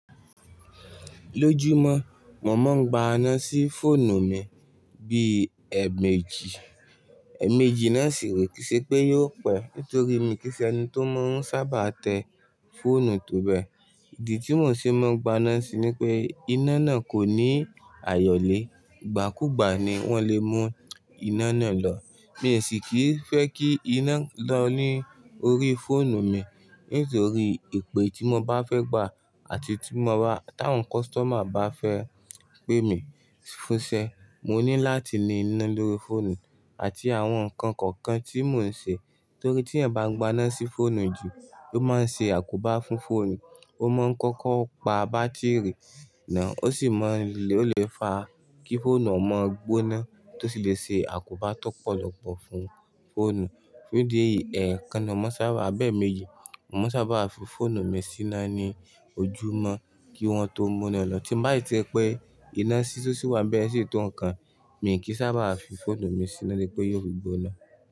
Lójúmọ́, mò mọ́ ń gba iná sí fóònù mi bí i ẹ̀mẹ́jì. Ẹ̀mẹ́jì náà sì re, kì ṣe pé yóò pẹ́ nítorí mi kì í ṣe ẹni tó mọ́ ń sábà tẹ fóònù tó bẹ. Ìdí tí mò ṣe máa ń gba iná síi ni pé iná náà kò ní àyọ̀lé, ìgbà kúù ìgbà ni wọ́n lè mú iná náà lọ. Mi sì kì í fẹ́ kí iná lọ ní orí fóònù mi nítorí ipè tí mo bá fẹ́ gbà àti tí àwọn customer bá fẹ́ pè mi fúnṣẹ́, mo ní láti ní iná lórí fóònù àti àwọn ǹkan kọ̀ọ̀kan tí mò ń ṣe. Nítorí tí ẹ̀ bá ń gba iná sí fóònù jù, ó máa ń ṣe àkóbá fún fóònù, ó mọ̀ ń kọ́kọ́ pa bátìrì náà, ó sì lè fa kí fóònù ọ mọ gbóná tó sì lè ṣe àkóbá tó pọ̀ lọ́pọ̀ fún fóònù. Nídí eyi ẹ̀kan náà, mò sábà á bẹ́ẹ̀ méye. Mò maa sábà fi fóònù mi síná ní ojúmọ́ kí wọ́n tó mú iná lọ. Tí mo bá si ti rí pé iná to si wà nibe sì tó ǹkan, mi kì í sábà á fi fóònù mi síná lẹ́pẹ̀ ó yóò gbóná.